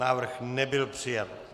Návrh nebyl přijat.